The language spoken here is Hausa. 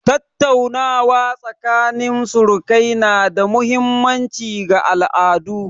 Tattaunawa tsakanin surukai na da mahimmanci ga al'adu.